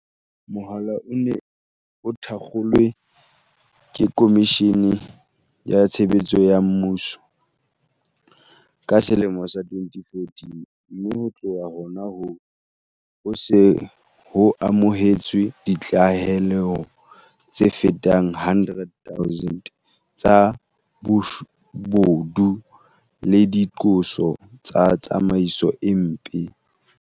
Mohala ona o ne o thakgolwe ke Khomishene ya Tshebeletso ya Mmuso, ka selemo sa 2014, mme ho tloha hona hoo, ho se ho amohetswe ditlaleho tse fetang 100 000 tsa bobodu le diqoso tsa tsamaiso e mpe.